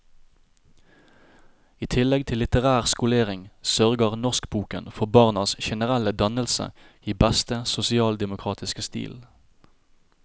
I tillegg til litterær skolering, sørger norskboken for barnas generelle dannelse i beste sosialdemokratiske stil.